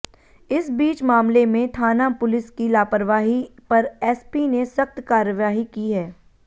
इस बीच मामले में थाना पुलिस की लापरवाही पर एसपी ने सख्त कार्यवाही की है